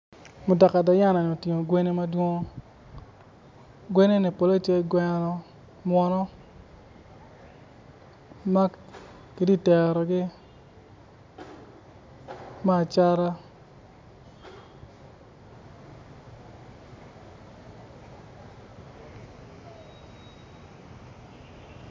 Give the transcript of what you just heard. Mutoka dayani otingo gweni madwong gwen eni polle tye gweno munu ma kiti terogi me acata.